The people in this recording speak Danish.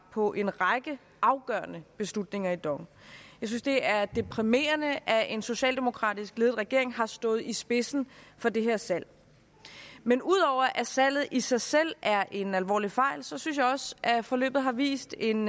på en række afgørende beslutninger i dong jeg synes det er deprimerende at en socialdemokratisk ledet regering har stået i spidsen for det her salg men ud over at salget i sig selv er en alvorlig fejl synes jeg også at forløbet har vist en